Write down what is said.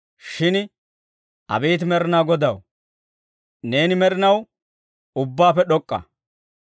Shin abeet Med'inaa Godaw, neeni med'inaw ubbaappe d'ok'k'a.